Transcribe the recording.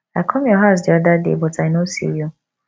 i come your house the other day but i no see you